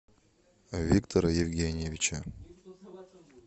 виктора евгеньевича